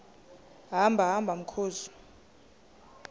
hamba hamba mkhozi